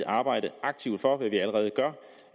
arbejderen